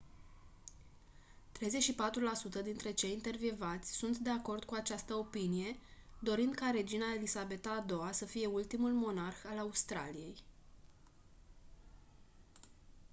34% dintre cei intervievați sunt de acord cu această opinie dorind ca regina elisabeta a ii-a să fie ultimul monarh al australiei